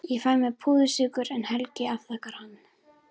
Ég fæ mér púðursykur en Helgi afþakkar hann.